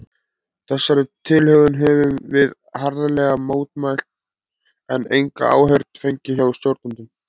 Þessari tilhögun höfðum við harðlega mótmælt, en enga áheyrn fengið hjá stjórnendum.